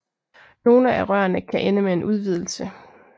Nogle af rørene kan ende med en udvidelse